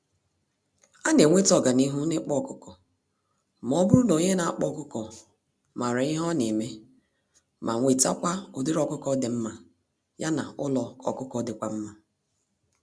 Anenweta ọganihu n'ịkpa ọkụkọ, mọbụrụ n'onye nakpa ọkụkọ màrà ihe oneme, ma wetakwa ụdịrị ọkụkọ dị mmá, ya na ụlọ ọkụkọ dịkwa mma.